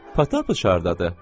Pata bu qızdadır.